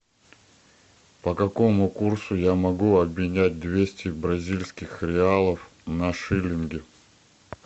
по какому курсу я могу обменять двести бразильских реалов на шиллинги